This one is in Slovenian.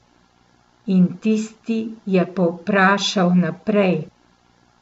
In tisti je povprašal naprej.